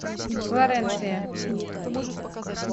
флоренция